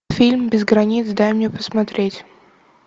фильм без границ дай мне посмотреть